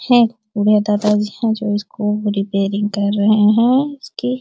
है दादा जी है जो उसको रिपेयरिंग कर रहे है। उसकी --